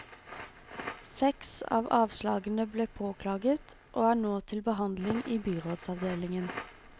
Seks av avslagene ble påklaget, og er nå til behandling i byrådsavdelingen.